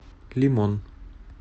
лимон